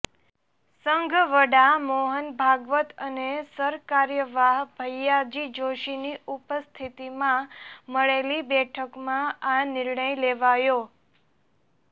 સંઘ વડા મોહન ભાગવત અને સરકાર્યવાહ ભૈયાજી જોશીની ઉપસ્થિતીમાં મળેલી બેઠકમાં આ નિર્ણય લેવાયો